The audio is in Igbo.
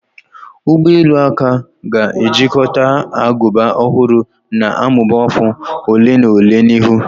Ụgbọ elu aka ga-ejikọta agụba ọhụrụ na-amụba afọ ole na ole n'ihu.